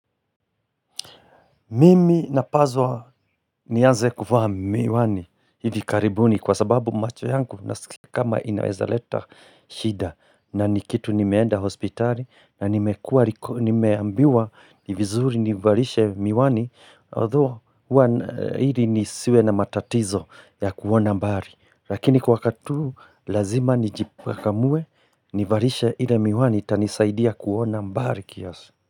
Mimi na pazwa nianze kuvaa miwani hili karibuni kwa sababu macho yangu na sikama inaweza leta shida na nikitu nimeenda hospitali na nimeambiwa nivizuri nivalishe miwani although hili nisiwe na matatizo ya kuona mbari. Lakini kwa wakati huu lazima nijipakakamue nivalishe ile miwani tanisaidia kuona mbari kiasi.